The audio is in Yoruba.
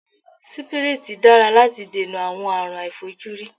Sípírítì dára láti dènà àwọn àárùn aàìfojúrí.